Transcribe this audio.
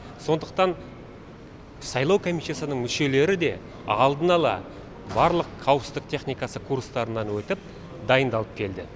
сондақтан сайлау комиссиясының мүшелері де алдын ала барлық қауіпсіздік техникасы курстарынан өтіп дайындалып келді